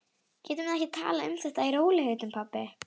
Getum við ekki talað um þetta í rólegheitum, pabbi?